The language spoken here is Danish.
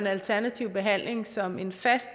alternativ behandling som en fast